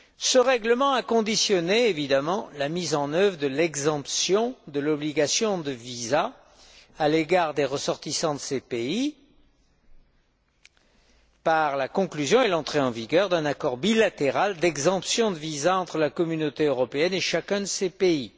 Ce règlement a conditionné la mise en œuvre de l'exemption de l'obligation de visa à l'égard des ressortissants de ces pays à la conclusion et l'entrée en vigueur d'un accord bilatéral d'exemption de visa entre la Communauté européenne et chacun de ces pays.